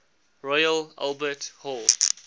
royal albert hall